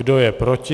Kdo je proti?